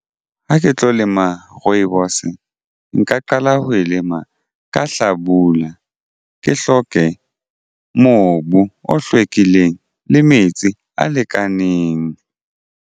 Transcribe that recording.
Ha ke tlo lema rooibos nka qala ho e lema ka hlabula ke hloke mobu o hlwekileng le metsi a lekaneng.